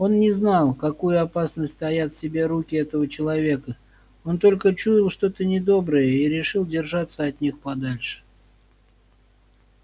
он не знал какую опасность таят в себе руки этого человека он только чуял что то недоброе и решил держаться от них подальше